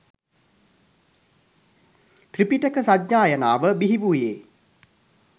ත්‍රිපිටක සජ්ඣායනාව බිහිවූයේ